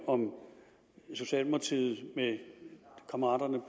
om socialdemokratiet med kammeraterne